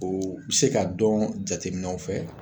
O be se ka dɔn jateminɛw fɛ